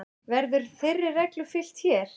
Verður þeirri reglu fylgt hér.